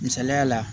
Misaliya la